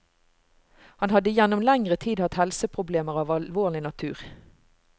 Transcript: Han hadde gjennom lengre tid hatt helseproblemer av alvorlig natur.